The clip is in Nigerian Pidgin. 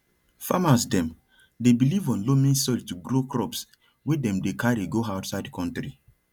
farmers dem dey believe on loamy soil to grow crops wey dem dey carry go outside country